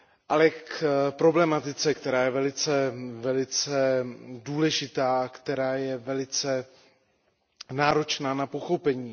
Ale k problematice, která je velice důležitá, která je velice náročná na pochopení.